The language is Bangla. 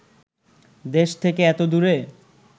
দেশ থেকে এত দূরে